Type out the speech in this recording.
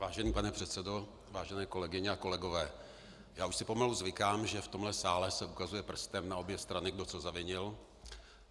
Vážený pane předsedo, vážené kolegyně a kolegové, já už si pomalu zvykám, že v tomto sále se ukazuje prstem na obě strany, kdo co zavinil.